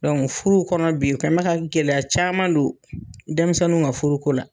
Dɔnkuc furu kɔnɔ bi, o kɛn mɛ ka ka gɛlɛya caman don denmisɛnw ka furuko la.